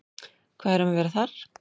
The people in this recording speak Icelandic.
Hvað er um að vera þar?